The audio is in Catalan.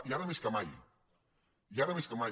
i ara més que mai i ara més que mai